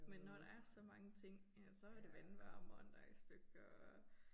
Men når der er så mange ting. Ja så var det vandvarmeren der i stykker og